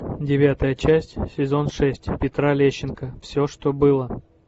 девятая часть сезон шесть петра лещенко все что было